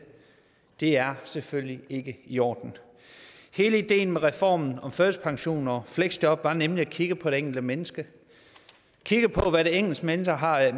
det er selvfølgelig ikke i orden hele ideen med reformen om førtidspension og fleksjob var nemlig at kigge på det enkelte menneske at kigge på hvad det enkelte menneske har af